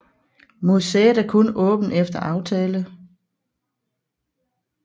Museet er kun åbent efter aftale